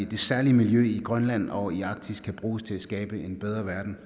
det særlige miljø i grønland og i arktis kan bruges til at skabe en bedre verden